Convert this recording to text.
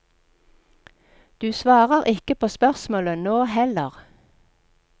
Du svarer ikke på spørsmålet nå heller!